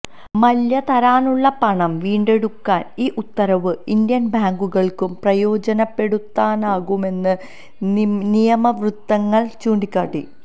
മല്യ തരാനുള്ള പണം വീണ്ടെടുക്കാൻ ഈ ഉത്തരവ് ഇന്ത്യൻ ബാങ്കുകൾക്കു പ്രയോജനപ്പെടുത്താനാകുമെന്ന് നിയമവൃത്തങ്ങൾ ചൂണ്ടിക്കാട്ടി